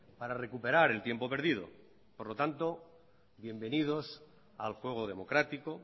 para recuperar el tiempo perdido por lo tanto bienvenidos al juego democrático